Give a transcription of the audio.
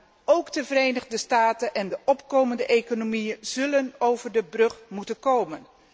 Maar ook de Verenigde Staten en de opkomende economieën zullen over de brug moeten komen.